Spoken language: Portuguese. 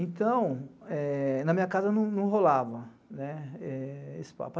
Então, na minha casa não rolava esse papo.